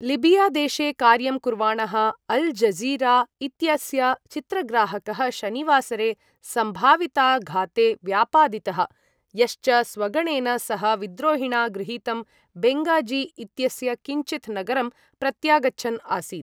लिबियादेशे कार्यं कुर्वाणः Al Jazeera इत्यस्य चित्रग्राहकः शनिवासरे सम्भाविताघाते व्यापादितः, यश्च स्वगणेन सह विद्रोहिणा गृहीतं बेङ्गाज़ी इत्यस्य किञ्चित् नगरं प्रत्यागच्छन् आसीत्।